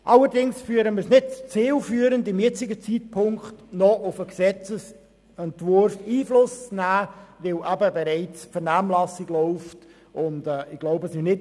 Allerdings finden wir es zum jetzigen Zeitpunkt nicht zielführend, noch auf den Gesetzesentwurf Einfluss zu nehmen, da bereits die Vernehmlassung dazu läuft.